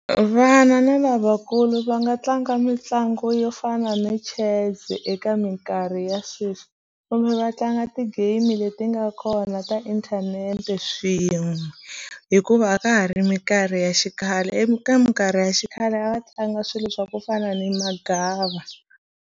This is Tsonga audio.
Vana na lavakulu va nga tlanga mitlangu yo fana na Chess eka minkarhi ya sweswi kumbe va tlanga ti-game leti nga kona ta inthanete swin'we hikuva a ka ha ri minkarhi ya xikhale eka mikarhi ya xikhale a va tlanga swilo swa ku fana ni magava.